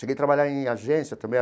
Cheguei trabalhar em agência também.